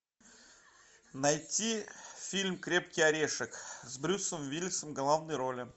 найти фильм крепкий орешек с брюсом уиллисом в главной роли